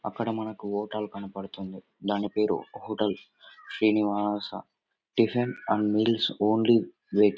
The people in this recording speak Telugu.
అక్కడ మనకు హోటల్ కనపడుతుంది. దాని పేరు hotel Srinivasa tiffin and meals only veg .